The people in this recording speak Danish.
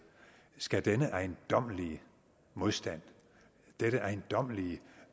skal denne ejendommelige modstand dette ejendommelige